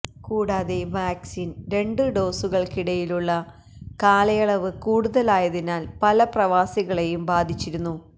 കൂടാതെ വാക്സിൻ രണ്ട് ഡോസുകൾക്കിടയിലുള്ള കാലയളവ് കൂടുതലായതിനാൽ പല പ്രവാസികളേയും ബാധിച്ചിരുന്നു